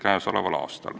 Aitäh!